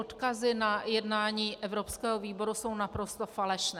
Odkazy na jednání evropského výboru jsou naprosto falešné.